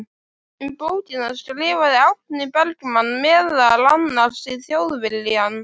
Um bókina skrifaði Árni Bergmann meðal annars í Þjóðviljann